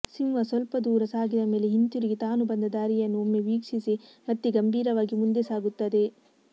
ಸಿಂಹ ಸ್ವಲ್ಪ ದೂರ ಸಾಗಿದ ಮೇಲೆ ಹಿಂತಿರುಗಿ ತಾನು ಬಂದ ದಾರಿಯನ್ನು ಒಮ್ಮೆ ವೀಕ್ಷಿಸಿ ಮತ್ತೆ ಗಂಭೀರವಾಗಿ ಮುಂದೆ ಸಾಗುತ್ತದೆ